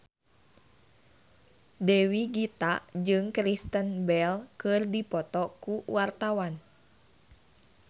Dewi Gita jeung Kristen Bell keur dipoto ku wartawan